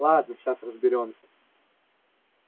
ладно сейчас разберёмся